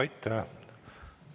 Aitäh!